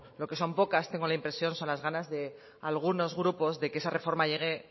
lo que son pocas tengo la impresión son las ganas de algunos grupos de que esa reforma llegue